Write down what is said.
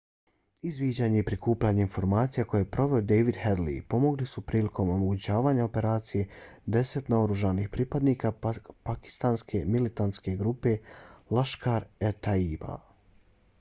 izviđanje i prikupljanje informacija koje je proveo david headley pomogli su prilikom omogućavanja operacije deset naoružanih pripadnika pakistanske militantne grupe laskhar-e-taiba